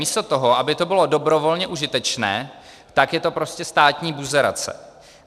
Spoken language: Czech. Místo toho, aby to bylo dobrovolně užitečné, tak je to prostě státní buzerace.